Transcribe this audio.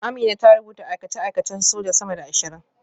Amina ta rubuta aikace-aikacen soja sama da ashirin